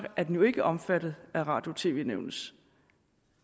er den jo ikke omfattet af radio og tv nævnets